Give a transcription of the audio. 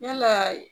Yalaa